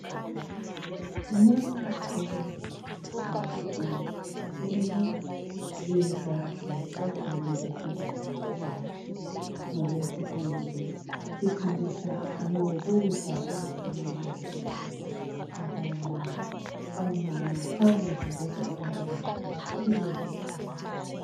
Nxa ukwazi ukuthi uzithwele iza silohlelo esizabe silalo ngolwesibili sifundisa ngokudla okufanele ukudle ukuthi omama bakudle ukuze abantwana babo bakhule beqinile.